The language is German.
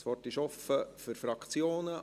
Das Wort ist offen für die Fraktionen;